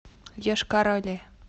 йошкар оле